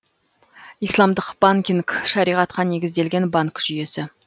исламдық банкинг шариғатқа негізделген банк жүйесі